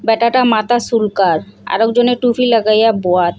ব্যাটাটা মাথা সুলকার আরেকজনে টুপি লাগাইয়া বোয়াত।